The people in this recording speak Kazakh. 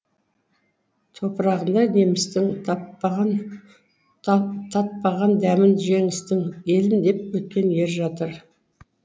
топырағында немістің татпаған дәмін жеңістің елім деп өткен ер жатыр